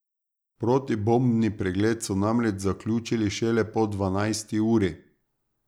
Protibombni pregled so namreč zaključili šele po dvanajsti uri.